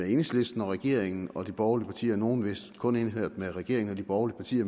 enhedslisten og regeringen og de borgerlige partier nogle er vist kun indført af regeringen og de